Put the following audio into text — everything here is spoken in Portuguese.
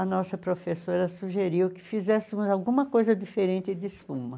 A nossa professora sugeriu que fizéssemos alguma coisa diferente de espuma.